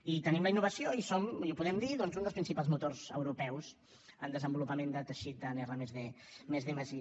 i tenim la innovació i som i ho podem dir doncs un dels principals motors europeus en desenvolupament de teixit en r+d+i